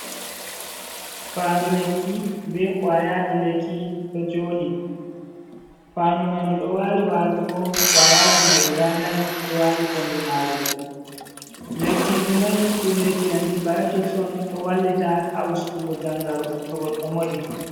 Fandu lekki be kowaayaji lekki ɗo joɗi fandu mai ndu do wali wallugo kwayaji mai guda nai ɗo wali kombi maru lekkiji mai ɗum lekki antibiotics on ɗo wallita ha ustugo jangaro to goɗɗo moɗi